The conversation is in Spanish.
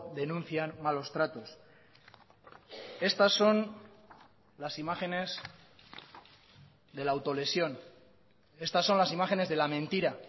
denuncian malos tratos estas son las imágenes de la autolesión estas son las imágenes de la mentira